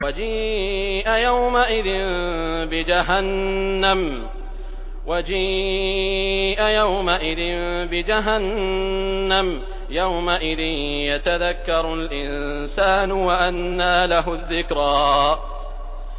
وَجِيءَ يَوْمَئِذٍ بِجَهَنَّمَ ۚ يَوْمَئِذٍ يَتَذَكَّرُ الْإِنسَانُ وَأَنَّىٰ لَهُ الذِّكْرَىٰ